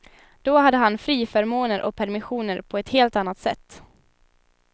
Då hade han friförmåner och permissioner på ett helt annat sätt.